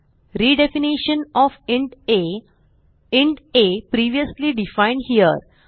redefinition of int a int a previously defined here